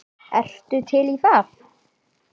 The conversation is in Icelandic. Ertu til í það?